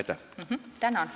Tänan!